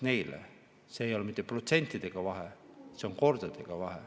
See vahe ei ole mitte protsentides, vaid kordades.